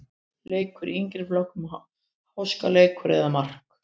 Leikur í yngri flokkunum-Háskaleikur eða mark?